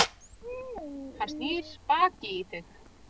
Hann snýr baki í þig.